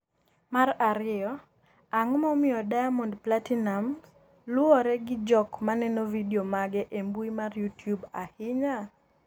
mar ariyo, Ang’o momiyo Diamond Platinumz luwre gi jok maneno vidio mage e mbui mar Youtube ahinya?